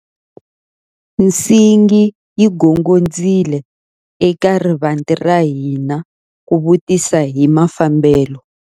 Nsingi yi gongondzile eka rivanti ra hina ku vutisa hi mafambelo.